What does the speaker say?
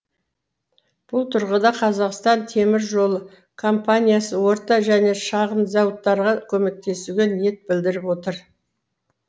бұл тұрғыда қазақстан темір жолы компаниясы орта және шағын зауыттарға көмектесуге ниет білдіріп отыр